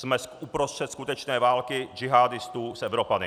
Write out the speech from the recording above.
Jsme uprostřed skutečné války džihádistů s Evropany.